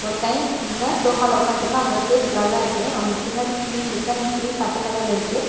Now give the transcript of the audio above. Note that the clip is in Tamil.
ஒருத்தய் இங்க சோஃபால ஒக்காந்ட்ருக்கா அவனோட ஃபேஸ் பிளர்ரா இருக்கு அவனுக்கு பின்னாடி ஸ்க்ரீன் இருக்கு அந்த ஸ்க்ரீன் பச்ச கலர்ல இருக்கு.